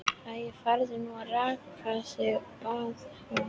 Æi, farðu nú að raka þig, bað hún.